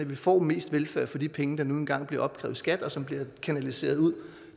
vi får mest velfærd for de penge der nu engang bliver opkrævet i skat og som bliver kanaliseret ud